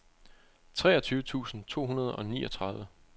treogtyve tusind to hundrede og niogtredive